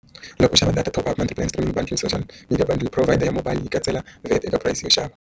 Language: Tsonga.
Loko u xava data top up binding social media provider ya mobile yi katsela veka price yo xava.